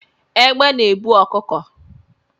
Egbe na ebu ọkụkọ